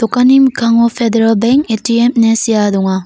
mikango pederal benk A_T_M ine sea donga.